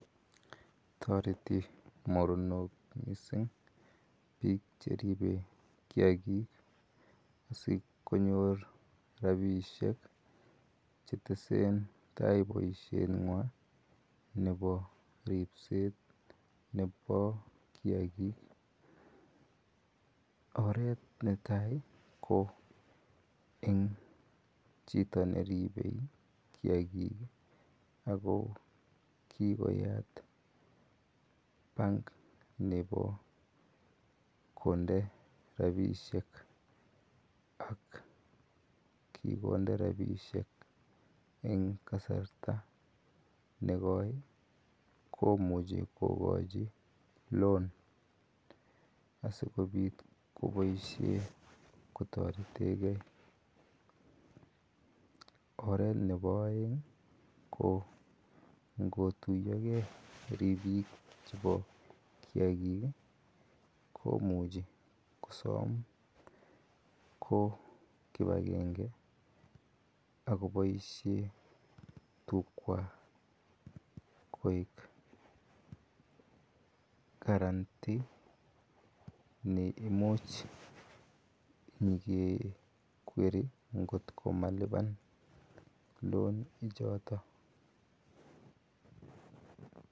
Toretii mornook missing biik cheribe kiagik asikonyoor rapisheek che teseen tai boisiet nywaany nebo ripseet nebo kiagik oret netai ko eng chitoo ne ribee kiagiik ii ako kikoyaat bank nebo konde rapisheek ak kikonde rapisheek eng kasartaa nego komuchei kogoi [loan] asikobiit kobaisheen kotareten gei oret nebo aeng ii ko ingotuyaagei ripiik chebo kiagik ii komuchei kosoom kibangengei akoboisien tukwaak koek karantii neimuuch inyei ke kwerie kóot ko malupaan [loan] ichotoon.